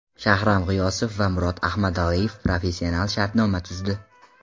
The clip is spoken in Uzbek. Shahram G‘iyosov va Murod Ahmadaliyev professional shartnoma tuzdi.